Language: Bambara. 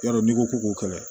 Yarɔ n'i ko ko k'o kɛlɛ